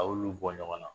A y'olu bɔ ɲɔgɔn na